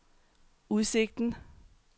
udsigten